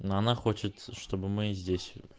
ну она хочет чтобы мы здесь